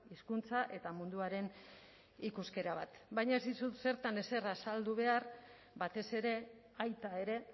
hizkuntza eta munduaren ikuskera bat baina ez dizut zertan ezer azaldu behar batez ere aita ere